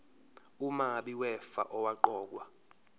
umabi wefa owaqokwa